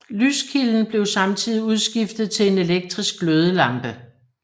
Lyskilden blev samtidig udskiftet til en elektrisk glødelampe